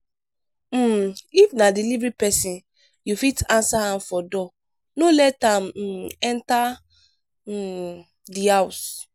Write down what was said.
um if na delivery person you fit answer am for door no let am um enter um di house